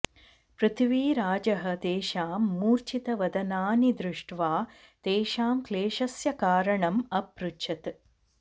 पृथ्वीराजः तेषां मूर्छितवदनानि दृष्ट्वा तेषां क्लेशस्य कारणम् अपृच्छत्